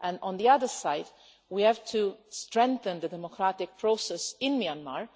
On the other hand, we have to strengthen the democratic process in Myanmar,